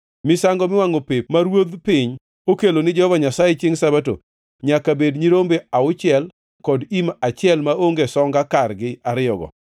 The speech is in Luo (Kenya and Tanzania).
Misango miwangʼo pep ma ruodh piny okelo ni Jehova Nyasaye chiengʼ Sabato nyaka bed nyirombe auchiel kod im achiel maonge songa kargi ariyogo.